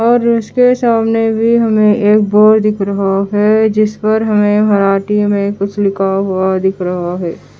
और उसके सामने भी हमे एक बोर्ड दिख रहा हैं जिस पर हमें मराठी में कुछ लिखा हुआ दिख रहा है।